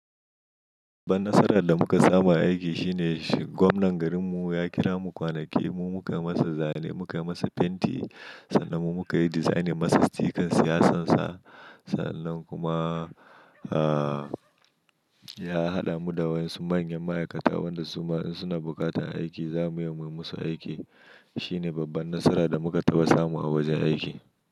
Babban nasarar da muka samu a aiki shine gwamnan garinmu ya kira mu kwanaki, mu muka masa zane, muka masa fenti, sannan mu muka yi design masa stickan siyasansa. Sa'annan kuma, ah, ya haɗa mu da wasu manyan ma'aikata wanda su ma in suna bukata aiki za mu iya yi musu aiki. Shine babbar nasarar da muka taɓa samu a wajen aiki.